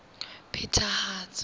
phethahatso